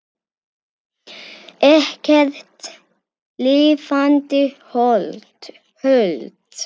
Ekkert lifandi hold.